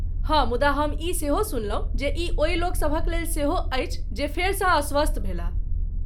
हँ, मुदा हम ई सेहो सुनलहुँ जे ई ओहि लोकसभ लेल सेहो अछि जे फेरसँ अस्वस्थ भेलाह।